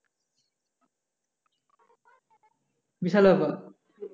বিশাল ব্যাপার